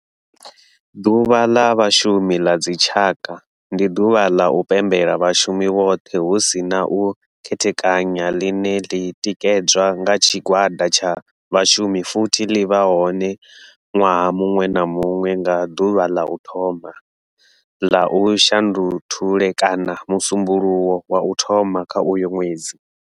Ḓuvha la Vhashumi la dzi tshaka, ndi duvha la u pembela vhashumi vhothe hu si na u khethekanya line li tikedzwa nga tshigwada tsha vhashumi futhi li vha hone nwaha munwe na munwe nga duvha la u thoma la u Shundunthule kana musumbulowo wa u thoma kha uyo nwedzi.